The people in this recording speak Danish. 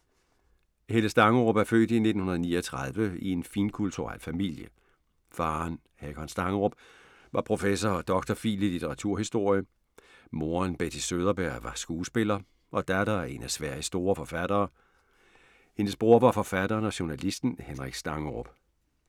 Helle Stangerup er født i 1939 i en finkulturel familie. Faderen, Hakon Stangerup, var professor og dr. phil. i litteraturhistorie. Moderen, Betty Söderberg, var skuespiller og datter af en af Sveriges store forfattere. Hendes bror var forfatteren og journalisten Henrik Stangerup.